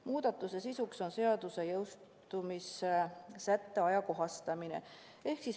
Muudatuse sisuks on seaduse jõustumissätte ajakohastamine.